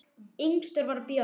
Yngstur var Björn.